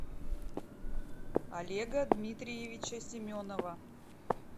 олега дмитриевича семенова